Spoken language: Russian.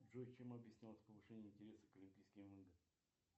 джой чем объяснялось повышение интереса к олимпийским играм